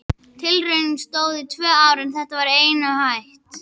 Tilraunin stóð í tvö ár en þá var henni hætt.